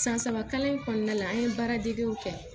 San saba kalan in kɔnɔna la an ye baaradegew kɛ